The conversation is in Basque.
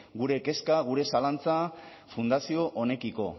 gure kezka gure zalantza fundazio honekiko